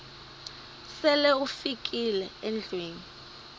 sele ufikile endlwini